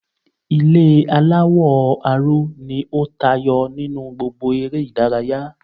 Ilé aláwò aró ni ó tayo nínú gbogbo ere ìdárayá